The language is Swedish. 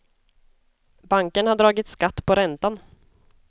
Banken har dragit skatt på räntan.